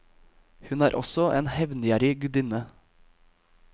Hun er også en hevngjerrig gudinne.